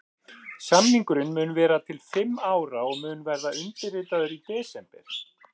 Samningurinn mun vera til fimm ára og mun verða undirritaður í desember.